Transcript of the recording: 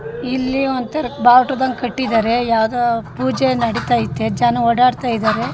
ಇಲ್ಲಿ ಒಂತರ ಬಾವುಟದಂಗ್ ಕಟ್ಟಿದ್ದಾರೆ ಯಾವ್ದೋ ಪೂಜೆ ನಡೀತಾ ಇದೆ ಜನ ಓಡಾಡಿತಾ ಇದ್ದಾರೆ-